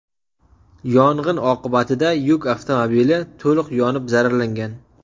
Yong‘in oqibatida yuk avtomobili to‘liq yonib zararlangan.